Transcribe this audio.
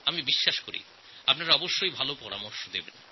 আমার বিশ্বাস আপনারা অবশ্যই ভাল পরামর্শ পাঠাবেন